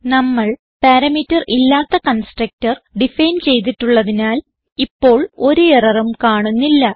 നമ്മൾ പാരാമീറ്റർ ഇല്ലാതെ constructor define ചെയ്തിട്ടുള്ളതിനാൽ ഇപ്പോൾ ഒരു എററും കാണുന്നില്ല